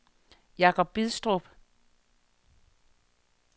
Jacob Bidstrup